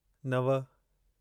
नव